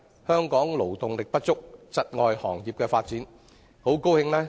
香港勞動力不足，窒礙各行各業的發展。